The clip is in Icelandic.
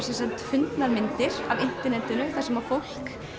fundnar myndir af internetinu þar sem fólk